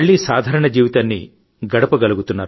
మీరు తీసుకుంటున్న చర్యలు చూస్తుంటే నాలో నమ్మకం పెరుగుతోంది